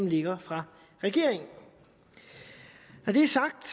ligger fra regeringen når det er sagt